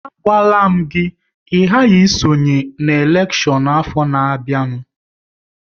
A gwala m gị, ị gaghị esonye n'elekshọn afọ na-bịanụ!